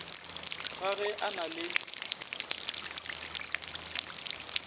ga ge a na le